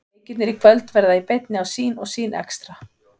Leikirnir í kvöld verða í beinni á Sýn og Sýn Extra.